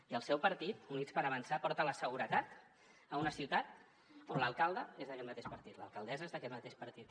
i el seu partit units per avançar porta la seguretat a una ciutat on l’alcalde és d’aquest mateix partit l’alcaldessa és d’aquest mateix partit